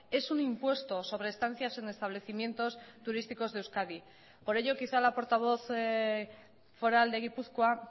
es un impuesto sobre estancias en establecimientos turísticos de euskadi por ello quizá la portavoz foral de gipuzkoa